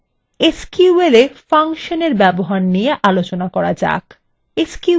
এরপর sqlএ ফাংশন এর ব্যবহার নিয়ে আলোচনা করা যাক